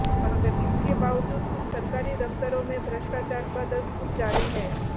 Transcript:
मगर इसके बावजूद कुछ सरकारी दफ्तरों में भ्रष्टाचार बदस्तूर जारी है